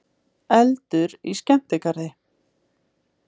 Eldur í skemmtigarði